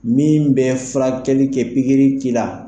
Min bɛ furakɛli kɛ pikiri la